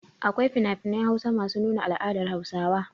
Akwai finafinan Hausa masu nuna al'adar Hausawa.